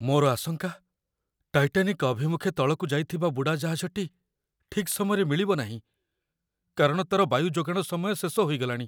ମୋର ଆଶଙ୍କା, ଟାଇଟାନିକ୍ ଅଭିମୁଖେ ତଳକୁ ଯାଇଥିବା ବୁଡ଼ାଜାହାଜଟି ଠିକ୍ ସମୟରେ ମିଳିବ ନାହିଁ, କାରଣ ତା'ର ବାୟୁ ଯୋଗାଣ ସମୟ ଶେଷ ହୋଇଗଲାଣି।